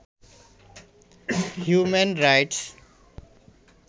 human rights